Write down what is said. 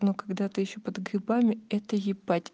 но когда ты ещё под грибами это ебать